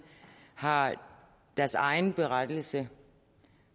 har deres egen berettigelse